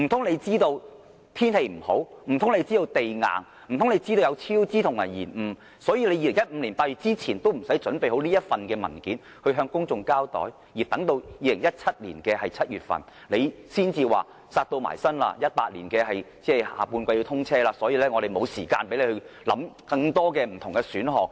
難道政府知道高鐵會超支和延誤，所以政府在2015年8月前也不用妥善準備這份文件，向公眾交代，而等待至2017年7月，政府才表示迫在眉睫，高鐵要在2018年第三季通車，所以沒有時間讓我們考慮更多不同選項？